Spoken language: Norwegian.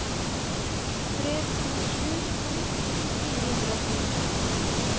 tre to sju to ti fire hundre og ti